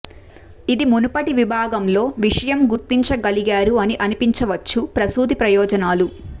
ఇది మునుపటి విభాగంలో విషయం గుర్తించగలిగారు అని అనిపించవచ్చు ప్రసూతి ప్రయోజనాలు